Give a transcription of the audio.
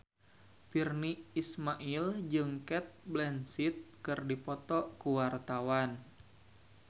Virnie Ismail jeung Cate Blanchett keur dipoto ku wartawan